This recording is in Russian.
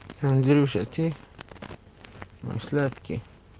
андрюша ты мой сладкий